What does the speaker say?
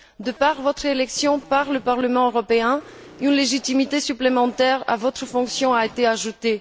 De par votre élection par le Parlement européen, une légitimité supplémentaire à votre fonction a été ajoutée.